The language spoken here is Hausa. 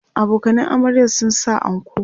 abokanan amaryar sun sa anko